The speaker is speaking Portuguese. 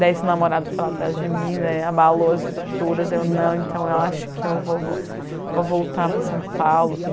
Daí esse namorado foi lá atrás de mim, daí abalou as estruturas, eu não, então eu acho que eu vou vou vou voltar para São Paulo.